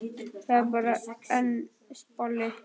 Það er bara einn bolli!